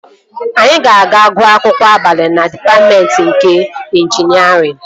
Anyị ga-aga gụọ akwụkwọ abalị na dịpatmentị nke ịnjinierịn